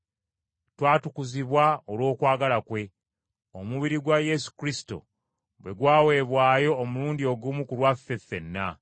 Twatukuzibwa olw’okwagala kwe, omubiri gwa Yesu Kristo bwe gwaweebwayo omulundi ogumu ku lwaffe ffenna.